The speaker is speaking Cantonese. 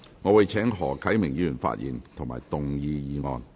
我請何啟明議員發言及動議議案。